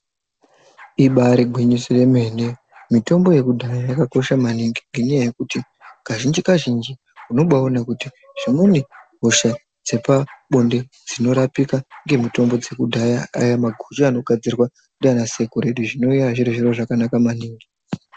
Ibari gwinyise remene. Mitombo yekudhaya yakakosha maningi. Ngenyaya yekuti kazhinji -kazhinji, unombaona kuti dzimweni hosha dzepabonde dzinorapika ngemutombo dzekudhaya, aya maguchu anogadzirwa ndiana sekuru edu zvinova zviro zvakanaka maningi.